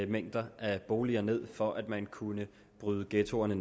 mængder af boliger ned for at man kunne bryde ghettoerne